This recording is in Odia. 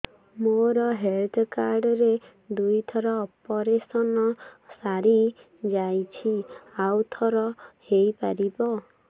ମୋର ହେଲ୍ଥ କାର୍ଡ ରେ ଦୁଇ ଥର ଅପେରସନ ସାରି ଯାଇଛି ଆଉ ଥର ହେଇପାରିବ